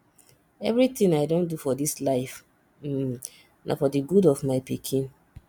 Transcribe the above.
everything i don do for dis life um na for the good of my pikin